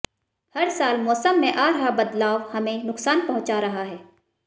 हर साल मौसम में आ रहा बदलाव हमें नुकसान पहुंचा रहा है